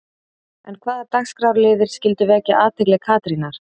En hvaða dagskrárliðir skyldu vekja athygli Katrínar?